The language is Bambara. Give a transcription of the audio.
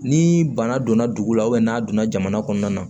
Ni bana donna dugu la n'a donna jamana kɔnɔna na